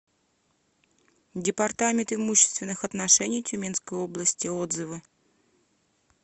департамент имущественных отношений тюменской области отзывы